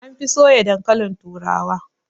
An fi soya dankalin turawa